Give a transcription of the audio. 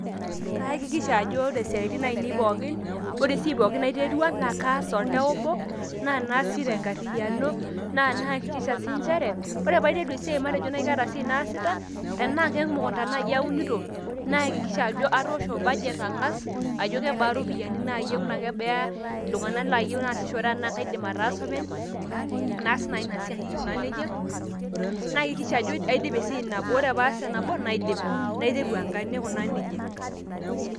kayakikisha ajo ore isaitin aainei pookin, ore esiai pookin naiterua, naa kaas toltau obo, naa naas sii tenkariyiano, naa nayakikisha sii nchere ore pee aiteru esiai matejo naaji kaata, esiai naasita, tenaa kemukunta naaji aunito, nayakiksha ajo atoosho, budge ang'as, ajo kebaa iropiyiani, kebaa iltung'ana laasishore enaa kaidim ataasa openy, naas naaji ina siai ai aikunaa nejia, nayakikisha ataasa esiai nabo naidip, ore peee aidip naiteru enake, naikunaa nejia.